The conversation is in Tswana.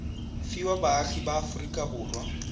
fiwa baagi ba aforika borwa